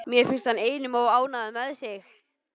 Mér finnst hann einum of ánægður með sig.